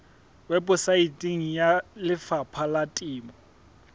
weposaeteng ya lefapha la temo